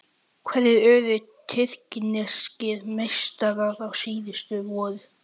Hverjir urðu tyrkneskir meistarar síðastliðið vor?